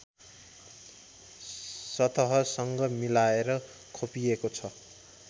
सतहसङ्ग मिलाएर खोपिएको छ